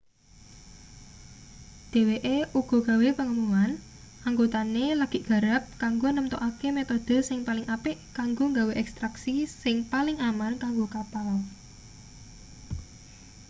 dheweke uga gawe pengumuman anggotane lagi nggarap kanggo nemtokake metode sing paling apik kanggo gawe ekstraksi sing paling aman kanggo kapal